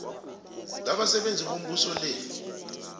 labasebenzi bombuso le